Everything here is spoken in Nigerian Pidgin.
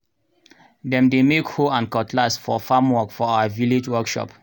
dem dey make hoe and cutlass for farm work for our village workshop.